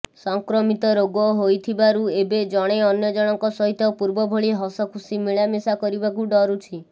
ସଂକ୍ରମିତ ରୋଗ ହୋଇଥିବାରୁ ଏବେ ଜଣେ ଅନ୍ୟ ଜଣଙ୍କ ସହିତ ପୂର୍ବଭଳି ହସଖୁସି ମିଳାମିଶା କରିବାକୁ ଡରୁଛି